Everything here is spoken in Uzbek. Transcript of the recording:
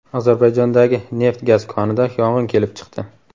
Ozarbayjondagi neft-gaz konida yong‘in kelib chiqdi.